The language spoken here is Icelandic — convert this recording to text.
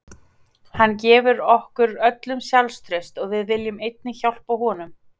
Hann gefur okkur öllum sjálfstraust og við viljum einnig hjálpa honum.